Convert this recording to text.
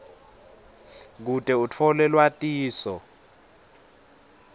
kute utfole lwatiso